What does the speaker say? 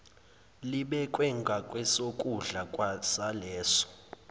libekwe ngakwesokudla saleso